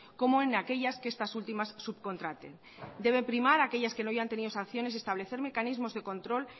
como en aquellas que estas últimas subcontraten debe primar aquellas que no hayan tenido sanciones y establecer mecanismos de control